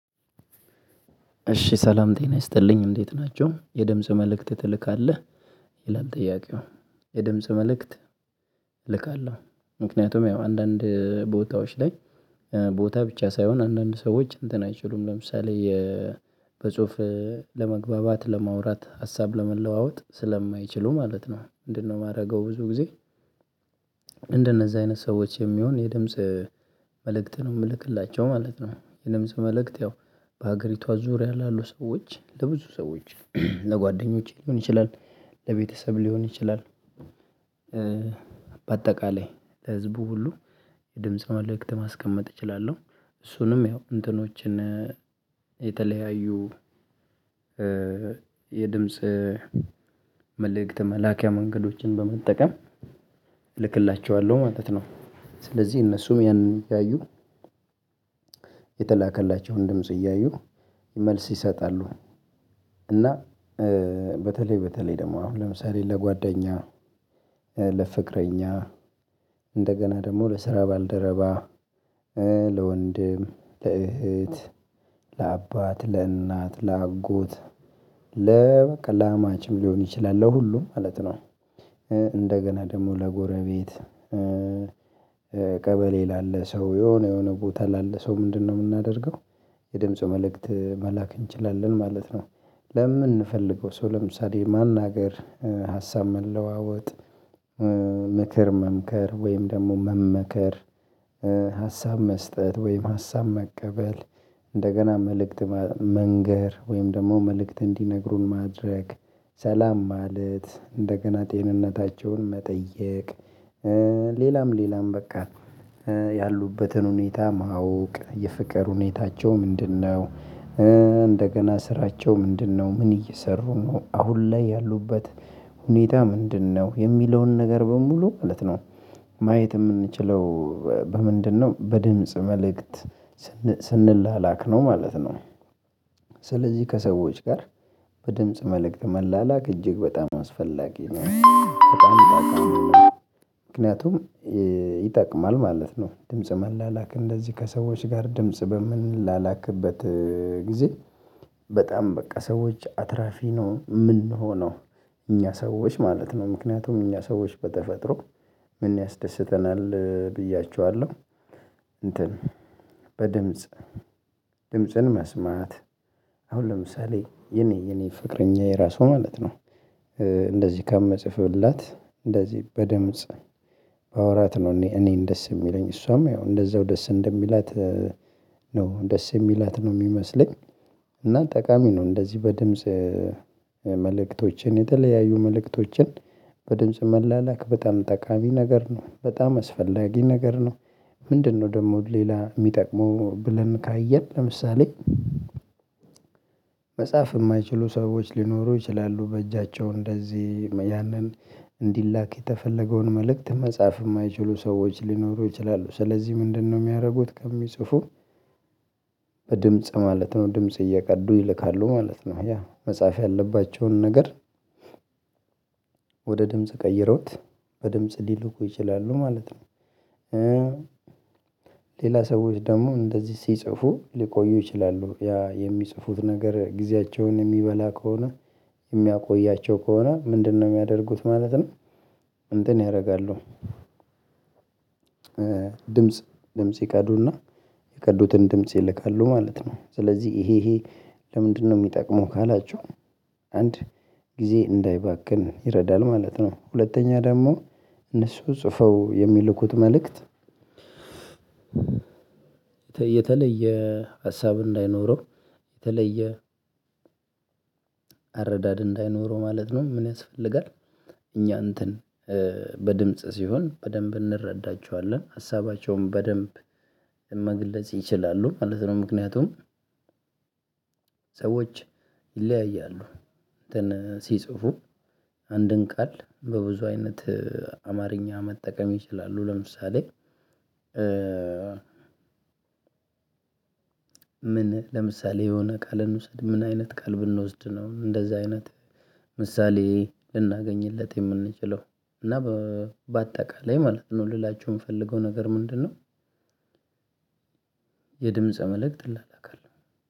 እሺ ሰላም ጤና ይስጥልኝ እንዴት ናቸሁ የድምጽ መልእክት ትልካለህ። ይላል ጥያቄው የድምጽ መልእክት ልካለሁ። ምክንያቱም ያው አንዳንድ ቦታዎች ላይ ቦታ ብቻ ሳይሆን አንዳንድ ሰዎች እንትን አይችሉም ለምሳሌ በጽሁፍ ለመግባባት ለማውራት ሀሳብ ለመለዋወጥ ስለማይችሉ ማለት ነው ምንድነው የማደርገው ብዙ ጊዜ እንደነዛ አይነት ሰዎች የሚሆን የድምጽ መልእክት ነው የምልክላቸው ማለት ነው። የድምጽ መልእክት ያው በሀገሪቷ ዙሪያ ላሉ ሰዎች ለብዙ ሰዎች ለጓደኞቼ ሊሆን ይችላል ለቤተሰብ ሊሆን ይችላል። በአጠቃላይ ለህዝቡ ሁሉ የድምጽ መልእክት ማስቀመጥ እችላለሁ እሱንም ያው እንትኖችን የተለያዩ የድምጽ መልእክት መላኪያ መንገዶችን በመጠቀም እልክላቸዋለሁ ማለት ነው። ስለዚህ እነሱም ያንን ያዩ የተላከላቸውን ድምጽ እያዩ መልስ ይሰጣሉ። እና በተለይ በተለይ ደግሞ አሁን ለምሳሌ ለጓደኛ ለፍቅረኛ እንደገና ደግሞ ለስራ ባልደረባ ለወንድም ለእህት ለአባት ለእናት ለአጎት ለ አማችም ሊሆን ይችላል ለሁሉም ማለት ነው። እንደገና ደግሞ ለጎረቤት ቀበሌ ላለ ሰው የሆነ የሆነ ቦታ ላለ ሰው ምንድነው የምናደርገው የድምፁ መልእክት መላክ እንችላለን ማለት ነው። ለምንፈልገው ሰው ለምሳሌ ማናገር ሀሳብ መለዋወጥ ምክር መምከር ወይም ደግሞ መመከር ሀሳብ መስጠት ወይም ሀሳብ መቀበል እንደገና መልእክት መንገር ወይም ደግሞ መልእክት እንዲነግሩን ማድረግ ሰላም ማለት እንደገና ጤንነታቸውን መጠየቅ ሌላም ሌላም በቃ ያሉበትን ሁኔታ ማወቅ የፍቅር ሁኔታቸው ምንድነው ስራቸው ምንድነው ምን እየሰሩ ነው አሁን ላይ ያሉበት ሁኔታ ምንድነው የሚለውን ነገር በሙሉ ማለት ነው። ማየት የምንችለው በምንድነው በድምጽ መልእክት ስንላላክ ነው ማለት ነው። ስለዚህ ከሰዎች ጋር በድምጽ መልእክት መላላክ እጅግ በጣም አስፈላጊ ነው በጣም ጠቃሚ ነው። ምክንያቱም ይጠቅማል ማለት ነው ድምጽ መላላክ እንደዚህ ከሰዎች ጋር ድምጽ በምን ላላክበት ጊዜ በጣም በቃ ሰዎች አትራፊ ነው የምንሆነው እኛ ሰዎች ማለት ነው። ምክንያቱም እኛ ሰዎች በተፈጥሮ ምን ያስደስተናል ብያችኋለሁ እንትን በድምጽ ድምጽን መስማት አሁን ለምሳሌ የኔ የኔ ፍቅረኛዬ ራሱ ማለት ነው። እንደዚህ ከመጽፈላት እንደዚህ በድምጽ ባወራት ነው እኔ እኔን ደስ የሚለኝ እሷም ያው እንደዛው ደስ እንደሚላት ነው ደስ የሚላት ነው የሚመስለኝ። ጠቃሚ ነው እንደዚህ በድምጽ መልእክቶችን የተለያዩ መልእክቶችን በድምጽ መላላክ በጣም ጠቃሚ ነገር ነው በጣም አስፈላጊ ነገር ነው። ምንድነው ደግሞ ሌላ የሚጠቅመው ብለን ካየን ለምሳሌ መጽሐፍ የማይችሉ ሰዎች ሊኖሩ ይችላሉ። በእጃቸው እንደዚህ ያንን እንዲላክ የተፈለገውን መልእክት መጻፍ የማይችሉ ሰዎች ሊኖሩ ይችላሉ። ስለዚህ ምንድነው የሚያደርጉት ከሚጽፉ በድምጽ ማለት ነው ድምጽ እየቀዱ ይልካሉ ማለት ነው ያ መጽሐፍ ያለባቸውን ነገር ወደ ድምጽ ቀይረውት በድምጽ ሊልኩ ይችላሉ ማለት ነው። ሌላ ሰዎች ደግሞ እንደዚህ ሲጽፉ ሊቆዩ ይችላሉ ያ የሚጽፉት ነገር ጊዜያቸውን የሚበላ ከሆነ የሚያቆያቸው ከሆነ ምንድነው የሚያደርጉት ማለት ነው። እንትን ያደርጋሉ ድምጽ ድምጽ ይቀዱና የቀዱትን ድምጽ ይልካሉ ማለት ነው። ስለዚህ ይሄ ይሄ ለምንድነው የሚጠቅመው ካላችሁ አንድ ጊዜ እንዳይባክን ይረዳል ማለት ነው። ሁለተኛ ደግሞ እነሱ ጽፈው የሚልኩት መልእክት ሀሳብ እንዳይኖረው የተለየ አረዳድ እንዳይኖረው ማለት ነው። ምን ያስፈልጋል እኛ እንትን በድምጽ ሲሆን በደንብ እንረዳቸዋለን ሀሳባቸውን በደንብ መግለጽ ይችላሉ ማለት ነው። ምክንያቱም ሰዎች ይለያያሉ እንትን ሲጽፉ አንድን ቃል በብዙ አይነት አማርኛ መጠቀም ይችላሉ። ለምሳሌ ምን ለምሳሌ የሆነ ቃል እንውሰድ ምን አይነት ቃል ብንወስድ ነው እንደዛ አይነት ምሳሌ ልናገኝለት የምንችለው እና በአጠቃላይ ማለት ነው ልላችሁ የምፈልገው ነገር ምንድነው? የድምፀ መልእክት እላላካለው